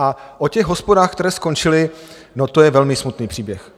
A o těch hospodách, které skončily, to je velmi smutný příběh.